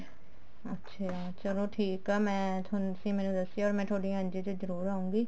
ਅੱਛਿਆ ਚਲੋ ਠੀਕ ਆ ਮੈਂ ਤੁਸੀਂ ਮੈਨੂੰ ਦੱਸਿਆ ਮੈਂ ਥੋਡੀ NGO ਚ ਜਰੁਰ ਆਉਂਗੀ